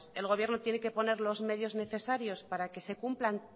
el gobierno tiene que poner los medios necesarios para que se cumplan